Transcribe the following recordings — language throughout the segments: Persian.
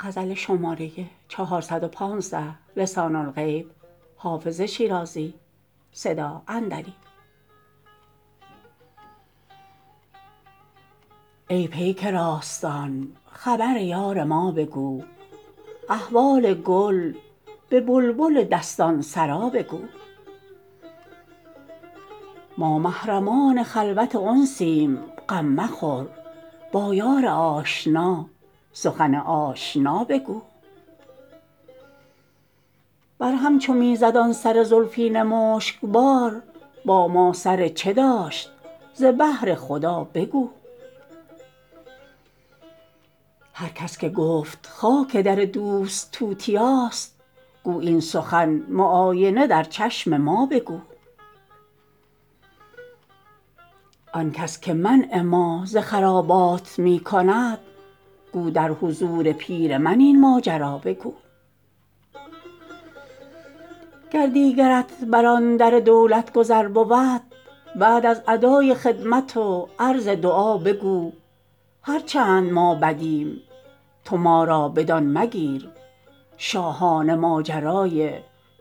ای پیک راستان خبر یار ما بگو احوال گل به بلبل دستان سرا بگو ما محرمان خلوت انسیم غم مخور با یار آشنا سخن آشنا بگو بر هم چو می زد آن سر زلفین مشک بار با ما سر چه داشت ز بهر خدا بگو هر کس که گفت خاک در دوست توتیاست گو این سخن معاینه در چشم ما بگو آن کس که منع ما ز خرابات می کند گو در حضور پیر من این ماجرا بگو گر دیگرت بر آن در دولت گذر بود بعد از ادای خدمت و عرض دعا بگو هر چند ما بدیم تو ما را بدان مگیر شاهانه ماجرای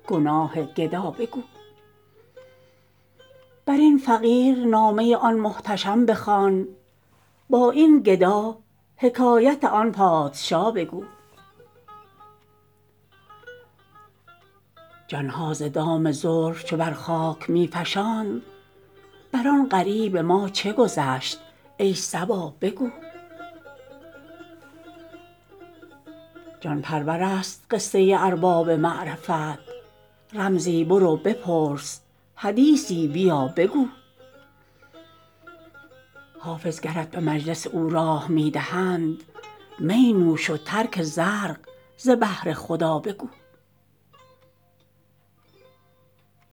گناه گدا بگو بر این فقیر نامه آن محتشم بخوان با این گدا حکایت آن پادشا بگو جان ها ز دام زلف چو بر خاک می فشاند بر آن غریب ما چه گذشت ای صبا بگو جان پرور است قصه ارباب معرفت رمزی برو بپرس حدیثی بیا بگو حافظ گرت به مجلس او راه می دهند می نوش و ترک زرق ز بهر خدا بگو